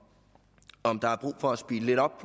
der er brug for at speede lidt op